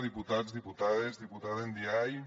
diputats diputades diputada ndiaye